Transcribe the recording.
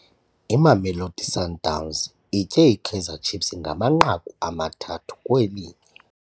Imamelodi Sundowns itye iKaizer Chiefs ngamanqaku amathathu kwelinye.